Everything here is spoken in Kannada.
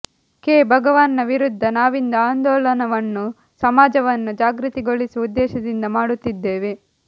ಕೆ ಭಗವಾನ್ ನ ವಿರುದ್ಧ ನಾವಿಂದು ಆಂದೋಲನವನ್ನು ಸಮಾಜವನ್ನು ಜಾಗೃತಿಗೊಳಿಸುವ ಉದ್ದೇಶದಿಂದ ಮಾಡುತ್ತಿದ್ದೇವೆ